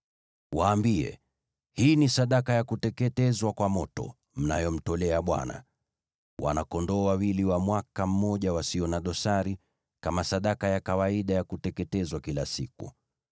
Waambie: ‘Hii ni sadaka ya kuteketezwa kwa moto mnayomtolea Bwana : wana-kondoo wawili wa mwaka mmoja wasio na dosari, kama sadaka ya kawaida ya kuteketezwa kila siku.